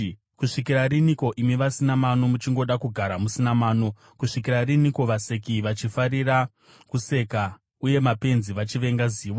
“Kusvikira riniko imi vasina mano, muchingoda kugara musina mano? Kusvikira riniko vaseki vachifarira kuseka, uye mapenzi achivenga zivo?